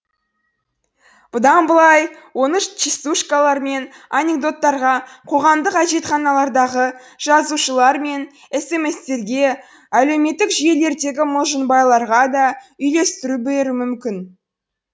бұдан бұлай оны частушкалар мен анекдоттарға қоғамдық әжетханалардағы жазулар мен эсеместерге әлеуметтік жүйелердегі мылжыңбайларға да үлестіре беруі мүмкін